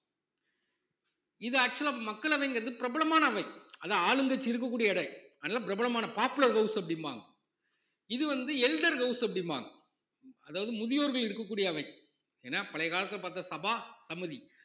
இது actual ஆ மக்களவைங்கிறது பிரபலமான அவை அது ஆளுங்கட்சி இருக்கக்கூடிய அவை அதனால பிரபலமான popular house அப்படிம்பாங்க இது வந்து elder house அப்படிம்பாங்க அதாவது முதியோர்கள் இருக்கக்கூடிய அவை ஏன்னா பழைய காலத்துல பார்த்த சபா சமுதி